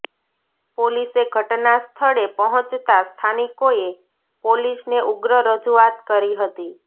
પોલીસે ઘટના સ્થળે પહોંચતાં સ્થાનિકોએ પોલીસને ઉગ્ર રજૂઆત કરી હતી